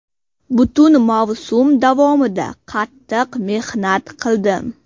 Butun mavsum davomida qattiq mehnat qildim.